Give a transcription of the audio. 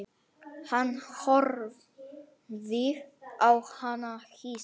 Hann horfði á hana hissa.